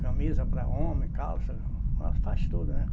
Camisa para homem, calça, ela faz tudo, né?